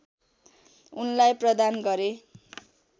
उनलाई प्रदान गरे